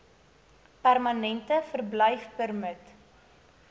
permanente verblyfpermit